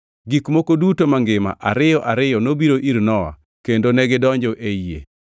Gik moko duto mangima ariyo ariyo nobiro ir Nowa kendo negidonjo ei yie.